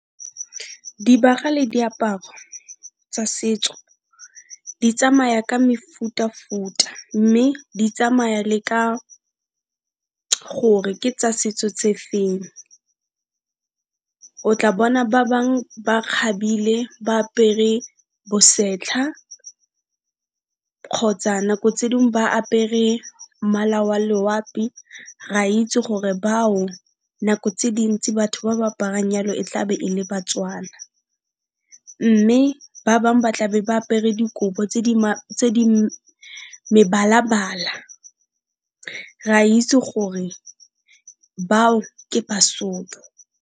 Dibaga le diaparo tsa setso di tsamaya ka mefuta-futa, mme di tsamaya le ka gore ke tsa setso tse feng. O tla bona ba bang ba kgabile, ba apere bosetlha kgotsa nako tse ding ba apere mmala wa loapi, re a itse gore bao nako tse dintsi batho ba ba aparang jalo e tlabe e le Batswana, mme ba bang ba tlabe ba apere dikobo tse di mebala-bala, re a itse gore bao ke Basotho.